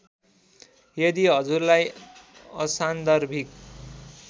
यदि हजुरलाई असान्दर्भिक